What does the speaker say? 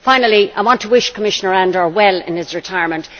Finally, I want to wish Commissioner Andor well in his retirement.